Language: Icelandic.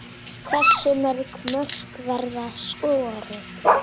Hversu mörg mörk verða skoruð?